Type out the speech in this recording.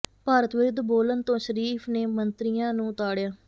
ਭਾਰਤ ਵਿਰੁੱਧ ਬੋਲਣ ਤੋਂ ਸ਼ਰੀਫ਼ ਨੇ ਮੰਤਰੀਆਂ ਨੂੰ ਤਾਡ਼ਿਆ